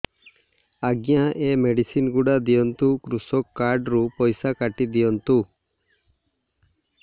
ଆଜ୍ଞା ଏ ମେଡିସିନ ଗୁଡା ଦିଅନ୍ତୁ କୃଷକ କାର୍ଡ ରୁ ପଇସା କାଟିଦିଅନ୍ତୁ